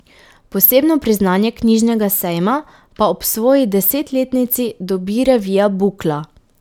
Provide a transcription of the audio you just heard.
Posebno priznanje knjižnega sejma pa ob svoji desetletnici dobi revija Bukla.